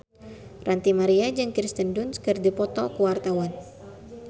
Ranty Maria jeung Kirsten Dunst keur dipoto ku wartawan